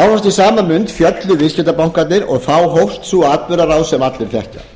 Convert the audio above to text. nánast í sama mund féllu viðskiptabankarnir og þá hófst sú atburðarás sem allir þekkja